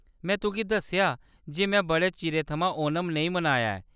में तुगी दस्सेआ जे, में बड़े चिरे थमां ओणम नेईं मनाया ऐ।